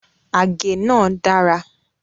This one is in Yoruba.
Àgé náà dára